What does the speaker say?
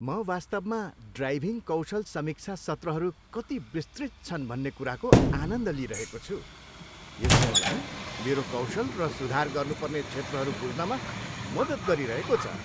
म वास्तवमा ड्राइभिङ कौशल समीक्षा सत्रहरू कति विस्तृत छन् भन्ने कुराको आनन्द लिइरहेको छु, यसले मलाई मेरो कौशल र सुधार गर्नुपर्ने क्षेत्रहरू बुझ्नमा मद्दत गरिरहेको छ।